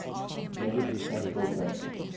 measured classical bits